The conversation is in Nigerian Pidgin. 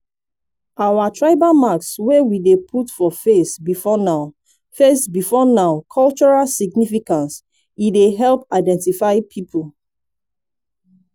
our tribal marks wey we dey put for face before now face before now cultural significance e dey help identify pipo.